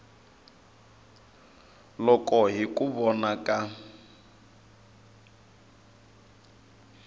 loko hi ku vona ka